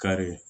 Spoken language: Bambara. Kari